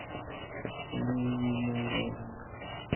лениногорск